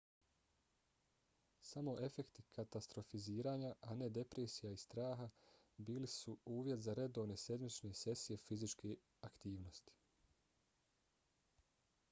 samo efekti katastrofiziranja a ne depresije i straha bili su uvjet za redovne sedmične sesije fizičke aktivnosti